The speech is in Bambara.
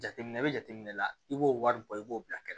Jateminɛ bɛ jateminɛ la i b'o wari bɔ i b'o bila kɛrɛ